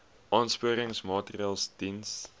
aansporingsmaatre ls diens